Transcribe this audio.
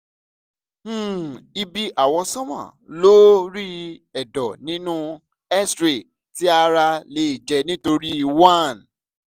um ibi awọsanma lori ẹdọ ninu x-ray ti ara le jẹ nitori 1